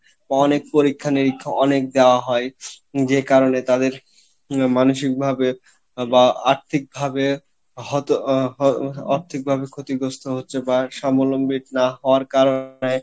বা অনেক পরিক্ষা নিরিক্ষা অনেক দেওয়া হয় যে কারনে তাদের আহ মানসিক ভাবে বা আর্থিক ভাবে হত আহ আর্থিক ভাবে ক্ষতিগ্রস্থ হচ্ছে আর সাবলম্বী না হওয়ার কারনে